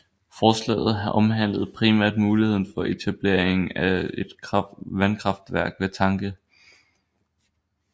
Forslaget omhandlede primært muligheden for etableringen af et vandkraftværk ved Tange